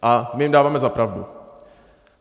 A my jim dáváme za pravdu.